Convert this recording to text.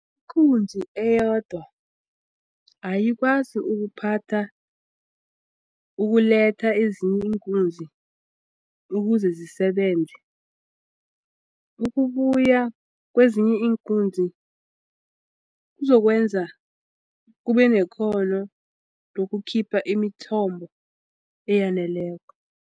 Ikunzi eyodwa ayikwazi ukuphatha ukuletha ezinye iinkunzi ukuze zisebenze ukubuya kwezinye iinkunzi kuzokwenza kube nekghono lokukhipha imithombo eyaneleko.